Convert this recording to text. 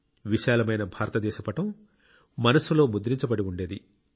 విశాలమైన భారతదేశ పటం మనస్సులో ముద్రించబడి ఉండేది